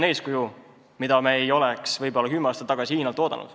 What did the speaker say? Seda me ei oleks võib-olla kümme aastat tagasi Hiinast oodanud.